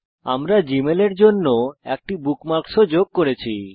আমরা জীমেলের জন্য একটি বুকমার্কও যোগ করেছি